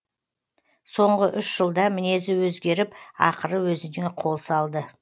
соңғы үш жылда мінезі өзгеріп ақыры өзіне қол салды